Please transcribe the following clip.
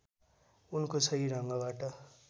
उनको सही ढङ्गबाट